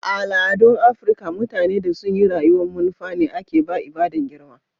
A' al'adun Afrika, mutane da sun yi rayuwa'n manufa ne ake ba ibada'n girma.